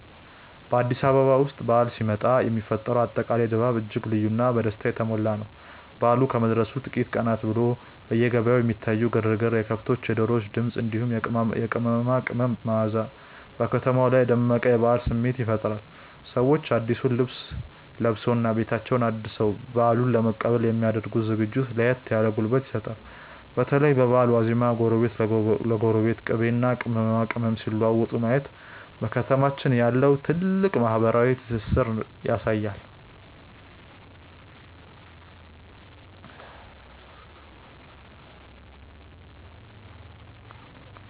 በአዲስ አበባ ውስጥ በዓል ሲመጣ የሚፈጠረው አጠቃላይ ድባብ እጅግ ልዩና በደስታ የተሞላ ነው። በዓሉ ከመድረሱ ጥቂት ቀናት ቀደም ብሎ በየገበያው የሚታየው ግርግር፣ የከብቶችና የዶሮዎች ድምፅ፣ እንዲሁም የቅመማ ቅመም መዓዛ በከተማዋ ላይ የደመቀ የበዓል ስሜት ይፈጥራል። ሰዎች አዲሱን ልብስ ለብሰውና ቤታቸውን አድሰው በዓሉን ለመቀበል የሚ ያደርጉት ዝግጅት ለየት ያለ ጉልበት ይሰጣል። በተለይ በበዓል ዋዜማ ጎረቤት ለጎረቤት ቅቤና ቅመማ ቅመም ሲለዋወጥ ማየት በከተማችን ያለውን ጥልቅ ማህበራዊ ትስስር ያሳያል።